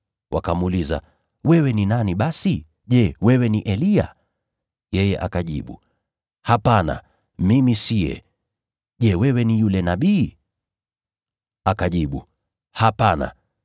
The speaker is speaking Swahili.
Wakamuuliza, “Wewe ni nani basi? Je, wewe ni Eliya?” Yeye akajibu, “Hapana, mimi siye.” “Je, wewe ni yule Nabii?” Akajibu, “Hapana.”